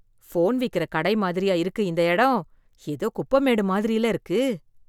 Phone விக்குற கடை மாதிரியா இருக்கு இந்த இடம்? எதோ குப்பைமேடு மாதிரியில்ல இருக்கு!